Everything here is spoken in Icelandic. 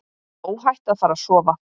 Óhætt að fara að sofa.